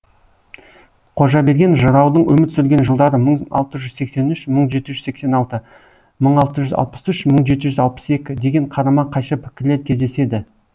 қожаберген жыраудың өмір сүрген жылдары мың алты жүз сексен үш мың жеті жүз сексен алты мың алты жүз алпыс үш мың жеті жүз алпыс екі деген қарама қайшы пікірлер кездеседі